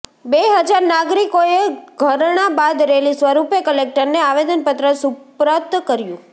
બે હજાર નાગરિકોએ ધરણાં બાદ રેલી સ્વરૂપે કલેકટરને આવેદનપત્ર સુપ્રત કર્યુ